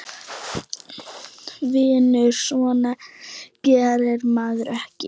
Vinur, svona gerir maður ekki!